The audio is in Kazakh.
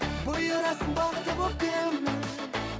бұйырасың бақыты боп кімнің